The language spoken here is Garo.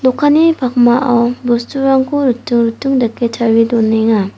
pakmao bosturangko riting riting dake tarie donenga.